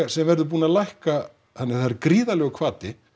sem verður búin að lækka þannig að það er gríðarlegur hvati